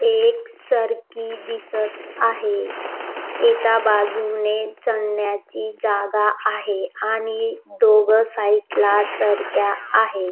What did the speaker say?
एक सरकी दिसत आहे एका बाजूने चढण्याची जागा आहे आणि दोघ साइड ला सरक्या आहे.